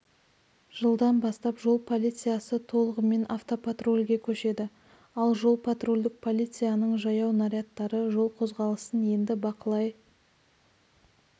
жылдан бастап жол полициясы толығымен автопатрульге көшеді ал жол-патрульдік полицияның жаяу нарядтары жол қозғалысын енді бақылай